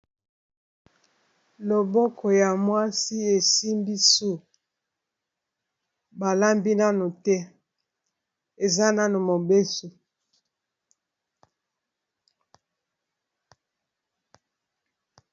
Loboko ya mwasi esimbi su, balambi nano te eza nano mobeso.